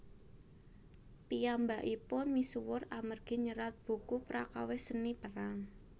Piyambakipun misuwur amargi nyerat buku prakawis Seni Perang